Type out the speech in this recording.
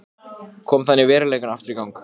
Ég hristi höfuðið, ég gat ekki svarað því.